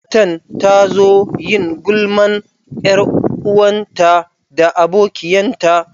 Matan ta zo yin gulman yar'uwanta da abokiyan ta.